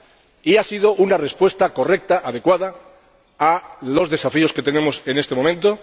unidad, y ha sido una respuesta correcta, adecuada a los desafíos que tenemos en este momento.